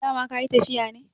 dama ka yi tafiya ne?